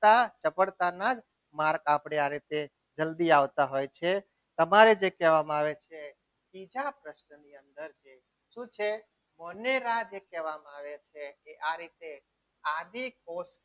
સફળતાના માર્ગ આપણે આ રીતે જલ્દી આવતા હોય છે તમારે જે કહેવામાં આવે છે બીજા પ્રશ્નની અંદર જે છે શું છે વનરા જે કહેવામાં આવે છે આ રીતે આદિ કોષના